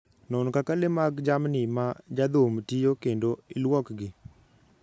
Non kaka le mag jamni ma jadhum tiyo kendo ilwokgi